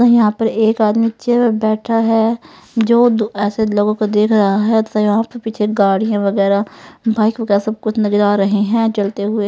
यहाँ पर एक आदमी इच्चे पे बैठा है जो दो ऐसे लोगों को देख रहा है त यहाँ पर पीछे गाड़ीयाँ वग़ैरा बाइकें वग़ैरा सब कुछ नजर आ रहे हैं चलते हुए--